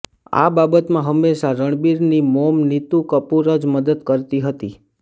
આ બાબતમાં હંમેશા રણબિરની મોમ નીતુ કપૂર જ મદદ કરતી હતી